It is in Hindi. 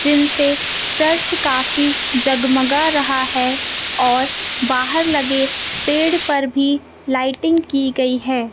जिनसे चर्च काफी जगमगा रहा है और बाहर लगे पेड़ पर भी लाइटिंग की गई है।